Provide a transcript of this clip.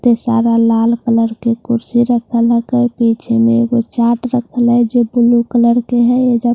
ते सारा लाल कलर की कुर्सी रखा लगा है पीछे में एक वो चाट रखा ला है जो ब्‍लू कलर के है ये जो--